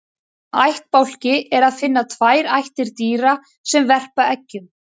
Í þeim ættbálki er að finna tvær ættir dýra sem verpa eggjum.